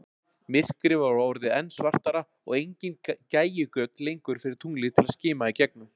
Myrkrið var orðið enn svartara, og engin gægjugöt lengur fyrir tunglið að skima í gegnum.